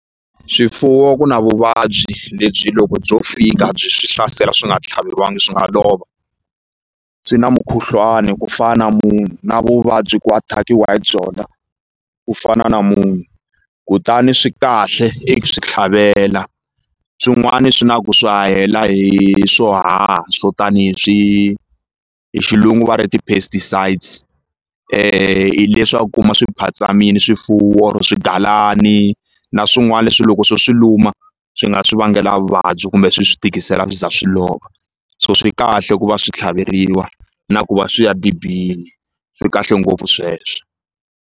Swifuwo ku na vuvabyi lebyi loko byo fika byi swi hlasela swi nga tlhaveriwangi swi nga lova swi na mukhuhlwani ku fana munhu na vuvabyi ku attack-iwa hi byona ku fana na munhu kutani swi kahle i swi tlhavela swin'wani swi na ku swi hahela hi swo haha swo tani hi swi hi xilungu va ri ti-pesticides hi leswi a wu kuma swi phatsamile swifuwo or swigalani na swin'wana leswi loko swo swi luma swi nga swi vangela vuvabyi kumbe swi swi tikisela swi za swi lova so swi kahle ku va swi tlhaveriwa na ku va swi ya dibini swi kahle ngopfu sweswo.